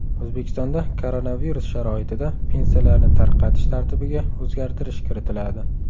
O‘zbekistonda koronavirus sharoitida pensiyalarni tarqatish tartibiga o‘zgartirish kiritiladi.